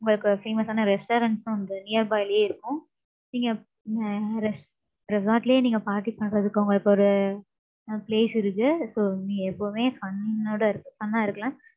உங்களுக்கு famous ஆன restaurants உம் வந்து, nearby லயே இருக்கும். நீங்க, அஹ் res~ resort லயே நீங்க party பண்றதுக்கு, உங்களுக்கு ஒரு, place இருக்கு. So நீங்க எப்பவுமே, fun ஓட இருக்க~ fun ஆ இருக்கலாம்.